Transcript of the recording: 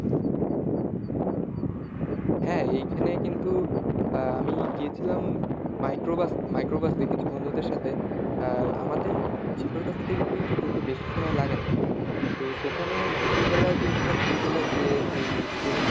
হ্যাঁ এইখানে কিন্তু আমি গিয়েছিলাম microbus এ কিছু বন্ধুদের সাথে। আহ আমাদের জিকর বাসা থেকে কিন্তু যেতে বেশি সময় লাগে না। তো সেখানে দুপুরবেলা গিয়েছিলাম দুপুরবেলা যেয়ে যেই experience টা আমার,